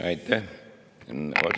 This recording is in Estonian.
Aitäh!